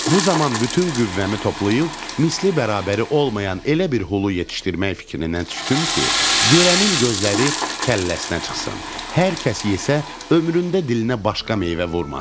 Bu zaman bütün qüvvəmi toplayıb misli bərabəri olmayan elə bir hulu yetişdirmək fikrinə düşdüm ki, görənin gözləri kəlləsinə çıxsın, hər kəs yesə ömründə dilinə başqa meyvə vurmasın.